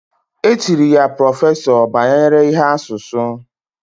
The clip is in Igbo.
Etiri ya prọfesọ banyere ihe asusu